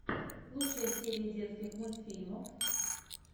лучшая серия детских мультьфильмов